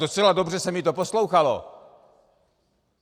Docela dobře se mi to poslouchalo.